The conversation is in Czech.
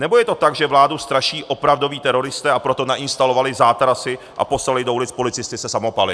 Nebo je to tak, že vládu straší opravdoví teroristé, a proto nainstalovali zátarasy a poslali do ulic policisty se samopaly?